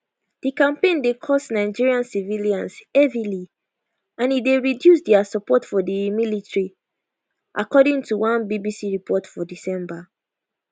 di campaign dey cost nigerian civilians heavily and e dey reduce dia support for di military according to one bbc report for december